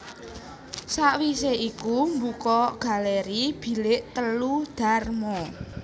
Sawise iku mbuka galeri Bilik telu Dharma